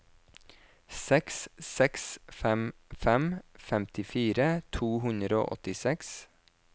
seks seks fem fem femtifire to hundre og åttiseks